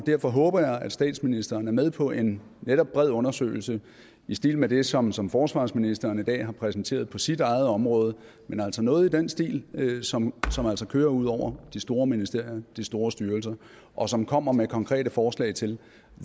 derfor håber jeg at statsministeren er med på en netop bred undersøgelse i stil med det som som forsvarsministeren i dag har præsenteret på sit eget område noget i den stil som som altså kører ud over de store ministerier de store styrelser og som kommer med konkrete forslag til